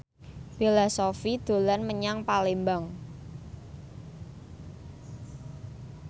Bella Shofie dolan menyang Palembang